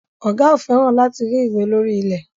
Ọ̀gá ò fẹ́ràn láti rí ìwé lórí ilẹ̀.